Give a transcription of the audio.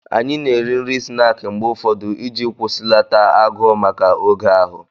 Anyị na-eri nri snaakị mgbe ụfọdụ iji kwụsịlata agụụ maka oge ahụ